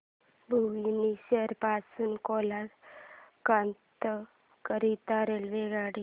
भुवनेश्वर पासून कोलकाता करीता रेल्वेगाड्या